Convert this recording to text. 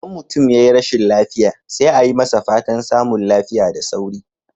Idan mutum yayi rashin lafiya, sai a yi masa fatan samun lafiya da wuri.